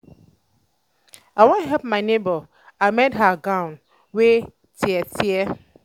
i wan help my nebor amend her gown wey tear. tear.